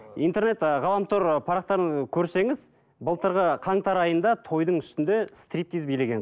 интернет ы ғаламтор ы парақтарын көрсеңіз былтырғы қаңтар айында тойдың үстінде стриптиз билеген